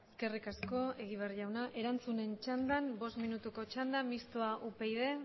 eskerrik asko egibar jauna erantzunen txandan bost minutuko txanda mistoa upyd